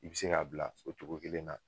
I bi se k'a bila o cogo kelen na